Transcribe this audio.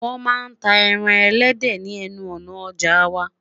wọn má tá ẹran ẹlẹdẹ ni enu òná ọja wa